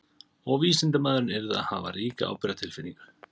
Og vísindamaðurinn yrði að hafa ríka ábyrgðartilfinningu.